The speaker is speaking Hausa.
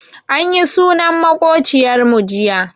Anyi sunan maƙociyar mu jiya.